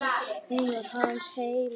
Hún var hans heima.